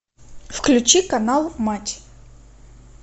включи канал матч